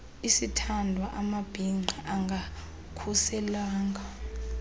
isithandwa amabhinqa angakhuselwanga